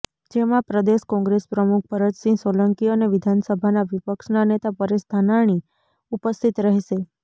જેમાં પ્રદેશ કોંગ્રેસ પ્રમુખ ભરતસિંહ સોલંકી અને વિધાનસભાના વિપક્ષના નેતા પરેશ ધાનાણી ઉપસ્થિત રહેશે